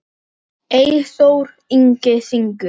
Þangað skal stefnan aftur tekin.